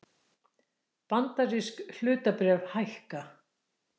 Bandarísk hlutabréf hækka